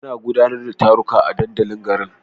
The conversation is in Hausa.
Ana gudanar da taruka a dandalin garin.